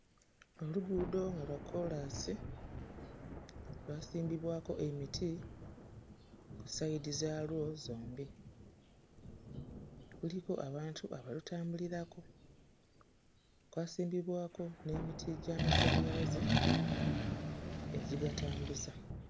Oluguudo nga lwa kkoolaasi lwasimbibwako emiti ku ssayidi zaalwo zombi, kuliko abantu abalutambulirako, kwasimbibwako n'emiti gy'amasannyalaze egigatambuza.